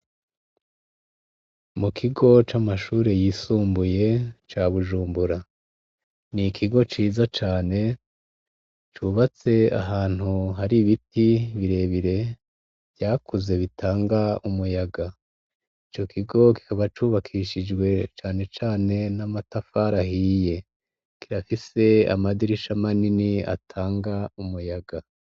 Mu kigo camashure yisumbuye cabujumbura nikigo ciza cane cubatse ahantu hari ibiti birebire vyakuze bitanga umuyaga ico kigo kikaba cubakishijwe canecane namatafari ahiye kirafise namadirisha manini atanga umuyaga